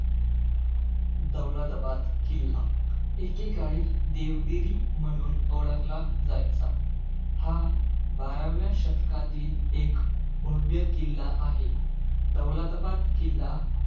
दौलताबाद किल्ला. एकेकाळी देवगिरी म्हणून ओळखला जायचा. हा बाराव्या शतकातील, एक भव्य किल्ला आहे. दौलताबाद किल्ला,